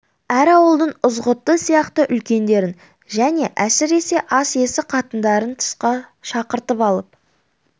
әр ауылдың ызғұтты сияқты үлкендерін және әсіресе ас иесі қатындарын тысқа шақыртып алып